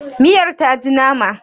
miyar ta ji nama?